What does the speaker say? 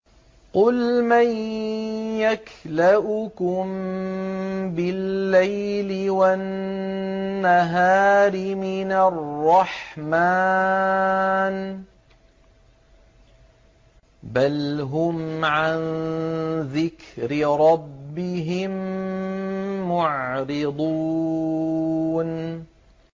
قُلْ مَن يَكْلَؤُكُم بِاللَّيْلِ وَالنَّهَارِ مِنَ الرَّحْمَٰنِ ۗ بَلْ هُمْ عَن ذِكْرِ رَبِّهِم مُّعْرِضُونَ